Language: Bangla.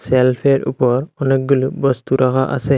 সেলফের উপর অনেকগুলো বস্তু রাখা আছে।